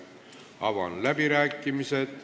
Avan läbirääkimised.